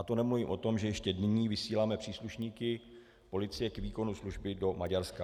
A to nemluvím o tom, že ještě nyní vysíláme příslušníky policie k výkonu služby do Maďarska.